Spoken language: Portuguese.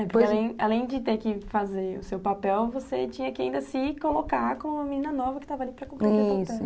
É, porque além de ter que fazer o seu papel, você tinha que ainda se colocar como uma menina nova que estava ali para cumprir o seu papel, isso.